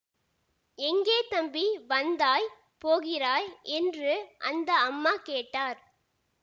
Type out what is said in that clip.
எங்கே தம்பி வந்தாய் போகிறாய் என்று அந்த அம்மா கேட்டார்